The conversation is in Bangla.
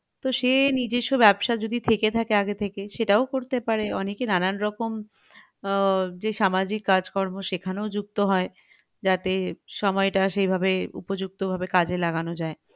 তো সে নিজস্ব ব্যাবসা যদি থেকে থাকে আগে থেকে সেটাও করতে পারে অনেকে নানারকম আহ যে সামাজিক কাজকর্ম সেখানেও যুক্ত হয় যাতে সময়টা সেইভাবে উপযুক্ত ভাবে কাজে লাগানো যাই